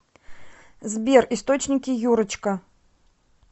сбер источники юрочка